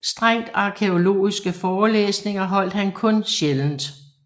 Strengt arkæologiske forelæsninger holdt han kun sjældent